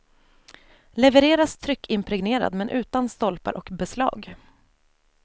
Levereras tryckimpregnerad, men utan stolpar och beslag.